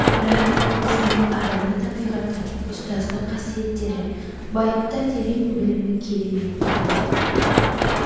бірақ ол кісінің адами табиғаты ұстаздық қасиеттері байыпты терең білімі керемет ұнайтын